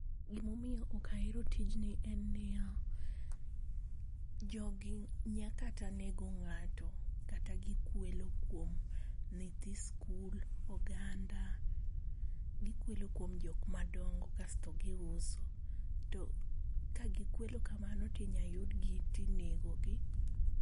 gima omiyo ok ahero tijni en niya, jogi nya kata nego ngato kata gikwelo kuom nyitho skul, oganda, gikwelo kuom jokma dongo kaito giuso. To ka gikwelo kamano tinyal yudgi tinego gi